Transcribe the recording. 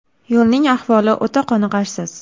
Yo‘lning ahvoli o‘ta qoniqarsiz.